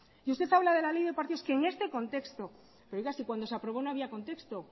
y usted habla de la ley de partidos que en este contexto pero oiga si cuando se aprobó no había contexto